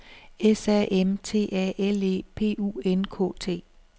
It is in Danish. S A M T A L E P U N K T